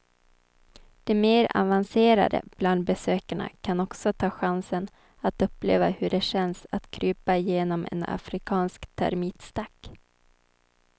De mer avancerade bland besökarna kan också ta chansen att uppleva hur det känns att krypa genom en afrikansk termitstack.